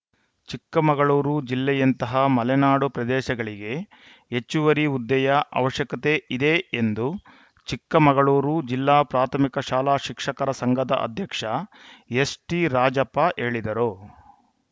ಚಿಕ್ಕಮಗಳೂರು ಜಿಲ್ಲೆಯಂತಹ ಮಲೆನಾಡು ಪ್ರದೇಶಗಳಿಗೆ ಹೆಚ್ಚುವರಿ ಹುದ್ದೆಯ ಅವಶ್ಯಕತೆ ಇದೆ ಎಂದು ಚಿಕ್ಕಮಗಳೂರು ಜಿಲ್ಲಾ ಪ್ರಾಥಮಿಕ ಶಾಲಾ ಶಿಕ್ಷಕರ ಸಂಘದ ಅಧ್ಯಕ್ಷ ಎಸ್‌ಟಿರಾಜಪ್ಪ ಹೇಳಿದರು